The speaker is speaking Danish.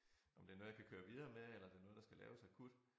Om det noget jeg kan køre videre med eller det noget der kan laves akut